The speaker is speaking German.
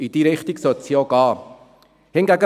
In diese Richtung sollte es auch gehen.